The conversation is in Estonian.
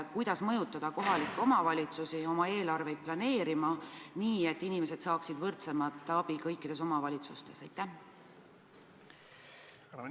Kuidas mõjutada kohalikke omavalitsusi oma eelarvet planeerima nii, et inimesed saaksid kõikides omavalitsustes võrdsemat abi?